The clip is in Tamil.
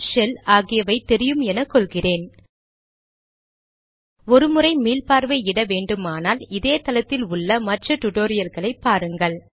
ஷெல் ஆகியவை தெரியும் என கொள்கிறேன் ஒரு முறை மீள்பார்வை இட வேண்டுமானால் இதே தளத்தில் உள்ள மற்ற டிடோரியல்களை பாருங்கள்